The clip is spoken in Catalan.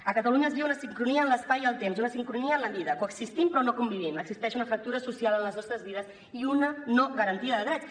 a catalunya es viu una sincronia en l’espai i el temps una sincronia en la vida coexistim però no convivim existeix una fractura social en les nostres vides i una no garantia de drets